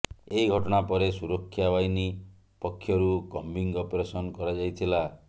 ଏହି ଘଟଣା ପରେ ସୁରକ୍ଷା ବାହିନୀ ପକ୍ଷରୁ କମ୍ବିଂ ଅପରେସନ କରାଯାଇଥିଲା